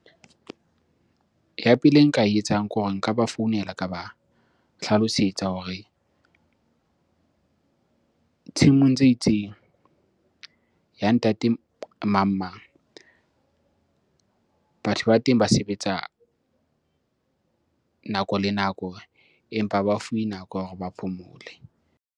Ya pele e nka e etsang ke hore nka ba founela ka ba hlalosetsa hore tshimong tse itseng ya ntate mang mang. Batho ba teng ba sebetsa nako le nako, empa ha ba fuwe nako ya hore ba phomole.